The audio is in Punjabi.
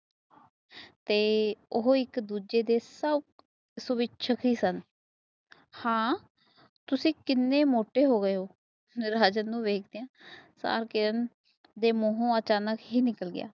ਤੇ ਉਹ ਇਕ ਦੂਜੇ ਦੇ ਸਬ ਸਵਿੱਚ ਸੀ ਸਨ ਤੁਸੀ ਕੀਨੇ ਮੋਟੇ ਹੋ ਗਏ ਰਾਜਨ ਨੂੰ ਵੇਖਦਿਆਂ ਤਾ ਕਿਰਨ ਦੇ ਮੂੰਹੋ ਅਚਾਨਕ ਨਿਕਾਲ ਗਏ